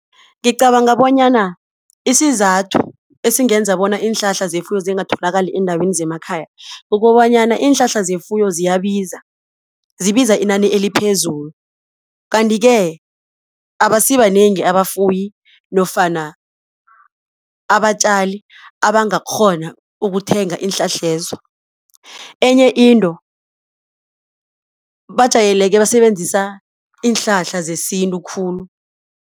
Ngicabanga bonyana isizathu ezingenza bona iinhlahla zefuyo zingatholakali eendaweni zemakhaya kukobanyana iinhlahla zefuyo ziyabiza zibiza inani eliphezulu. Kanti-ke abasibanengi abafuyi nofana abatjali abangakghona ukuthenga iinhlahlezo. Enye into bajayeleke ukusebenzisa iinhlahla zesintu khulu.